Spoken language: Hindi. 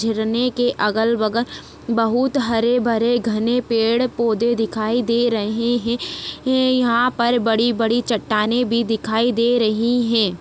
झरने के अगल-बगल बहुत हरे-भरे घने पेड़-पौधे दिखाई दे रहे है यहाँ पर बड़ी-बड़ी चटटाने भी दिखाई दे रही है।